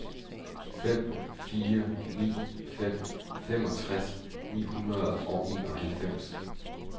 fem fire ni fem femogtres ni hundrede og enoghalvfems